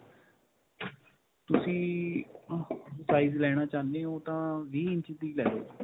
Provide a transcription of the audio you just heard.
ਤੁਸੀਂ ਅਅ size ਲੈਣਾ ਚਾਹੁੰਦੇ ਹੋ, ਤਾਂ ਵੀਹ ਇੰਚ ਦੀ ਲੈ ਲੋ.